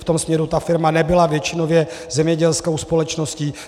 V tom směru ta firma nebyla většinově zemědělskou společností.